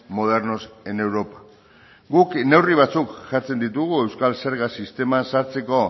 modernos en europa guk neurri batzuk jartzen ditugu euskal zerga sistema sartzeko